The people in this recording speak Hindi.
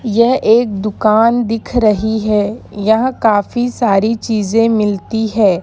यह एक दुकान दिख रही है यहां काफी सारी चीजें मिलती हैं।